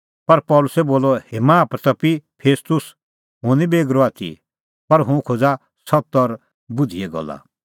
पर पल़सी बोलअ हे माहा प्रतपी फेस्तुस हुंह निं बेगरअ आथी पर हुंह खोज़ा सत्त और बुधिए गल्ला